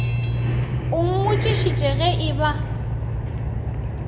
o mmotšišitše ge e ba